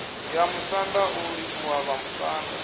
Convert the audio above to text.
ya musanda u livhuwa vhamusanda